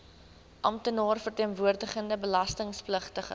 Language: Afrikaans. amptenaar verteenwoordigende belastingpligtige